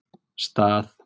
Stað